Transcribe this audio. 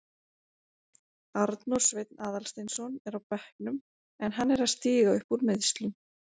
Arnór Sveinn Aðalsteinsson er á bekknum en hann er að stíga upp úr meiðslum.